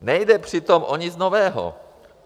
Nejde přitom o nic nového.